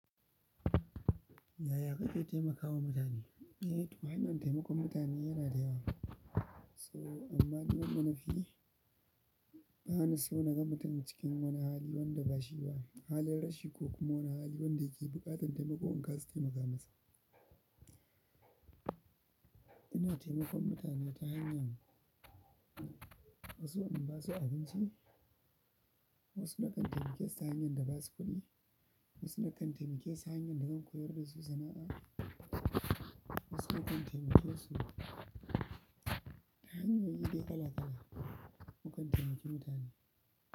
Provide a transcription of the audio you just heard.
Yaya ka ke taimakawa mutane? Eh, to hanyoyin taimakon mutane yana da yawa. So amma dai wanda nafi bani so na mutum cikin wani hali wanda bashi ba, halin rashi ko kuma wani hali wanda yake buƙatar taimako in kasa taimaka masa. Ina taimakon mutane ta hanyan wasu inda basu abinci, wasu na kan taimake su ta hanyan da basu kuɗi, wasu na kan taimake su ta hanyan da zan koyar da su sana'a, wasu na kan taimake su ta hanyoyi dai kala kala. Mu kan taimaki mutane.